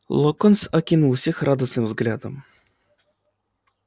локонс окинул всех радостным взглядом